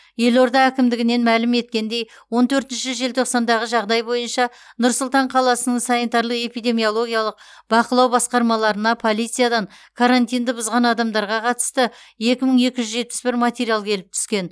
елорда әкімдігінен мәлім еткендей он төртінші желтоқсандағы жағдай бойынша нұр сұлтан қаласының санитарлық эпидемиологиялық бақылау басқармаларына полициядан карантинді бұзған адамдарға қатысты екі мың екі жүз жетпіс бір материал келіп түскен